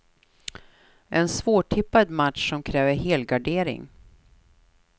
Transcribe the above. En svårtippad match som kräver helgardering.